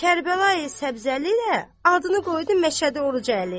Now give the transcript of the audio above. Kərbəla səbzəli də adını qoydu Məşədi Orucalı.